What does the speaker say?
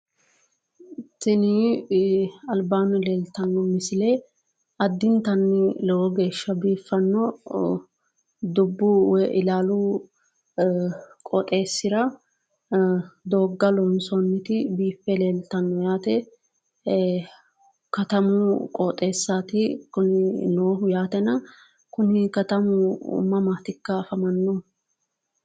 tinni albanni leeliishshano additanni lowo geesha dubbu woyi iillau qaaxesira dooga loosoonita biifekaayamu qooxesiraati yaate kunni kaatami mammatika afaamanohu leetano yaate misile